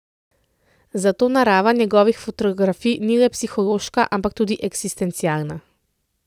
Zato narava njegovih fotografij ni le psihološka ampak tudi eksistencialna.